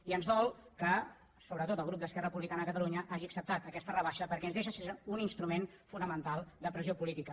i ens dol que sobretot el grup d’esquerra republicana de catalunya hagi acceptat aquesta rebaixa perquè ens deixa sense un instrument fonamental de pressió política